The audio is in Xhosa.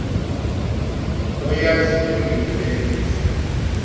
oyaziyo into endiza